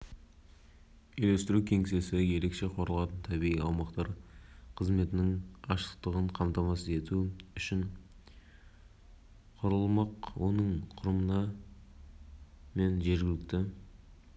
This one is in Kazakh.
жұртшылықты тарту мақсатында табиғат қорғау мекемелері жанынан үйлестіру кеңесін құру туралы ұсынысы қызықтырды деп хабарлайды